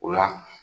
O la